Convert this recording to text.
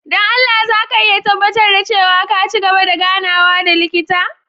Don Allah za ka iya tabbatar da cewa ka ci gaba da ganawa da likita?